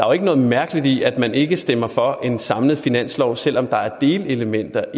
jo ikke noget mærkeligt i at man ikke stemmer for en samlet finanslov selv om der er delelementer